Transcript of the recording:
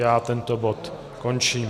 Já tento bod končím.